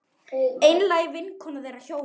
Einlæg vinkona þeirra hjóna.